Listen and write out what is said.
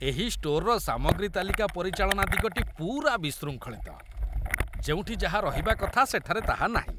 ଏହି ଷ୍ଟୋରର ସାମଗ୍ରୀ ତାଲିକା ପରିଚାଳନା ଦିଗଟି ପୂରା ବିଶୃଙ୍ଖଳିତ। ଯେଉଁଠି ଯାହା ରହିବା କଥା ସେଠାରେ ତାହା ନାହିଁ।